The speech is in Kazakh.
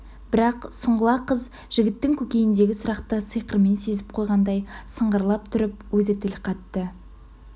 бірақ сұңғыла қыз жігіттің көкейіндегі сұрақты сиқырмен сезіп қойғандай сыңғырлап тұрып өзі тіл қатты